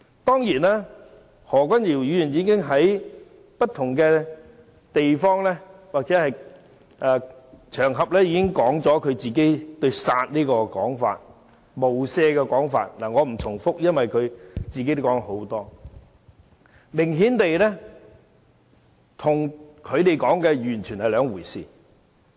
當然，何君堯議員已經在不同場合說明自己"殺無赦"的說法，我不再重複，因為他本人已說了很多次，明顯跟他們說的完全是兩回事。